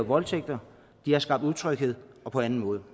voldtægt de har skabt utryghed og på anden måde